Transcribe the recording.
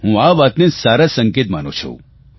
હું આ વાતને સારો સંકેત માનું છું